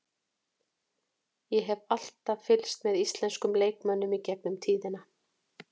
Ég hef alltaf fylgst með íslenskum leikmönnum í gegnum tíðina.